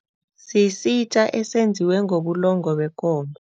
Sisitja esenziwe ngobulongwe bekomo.